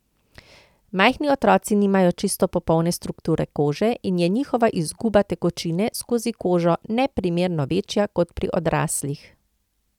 Majhni otroci nimajo čisto popolne strukture kože in je njihova izguba tekočine skozi kožo neprimerno večja kot pri odraslih.